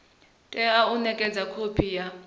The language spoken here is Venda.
tea u nekedzwa khophi ya